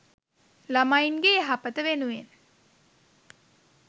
ළමයින්ගේ යහපත වෙනුවෙන්